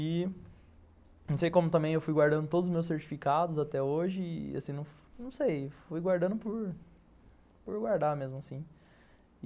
E não sei como também eu fui guardando todos os meus certificados até hoje, assim, não sei, fui guardando por... por guardar mesmo assim.